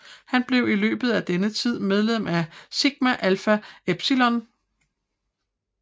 Han blev i løbet af denne tid medlem af Sigma Alpha Epsilon